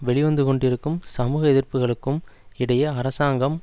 வெளிவந்து கொண்டிருக்கும் சமூக எதிர்ப்புக்களுக்கும் இடையே அரசாங்கம்